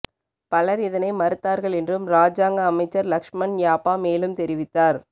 பலர் இதனை மறுத்தார்கள் என்றும் இராஜாங்க அமைச்சர் லக்ஷ்மன் யாப்பா மேலும் தெரிவித்தார்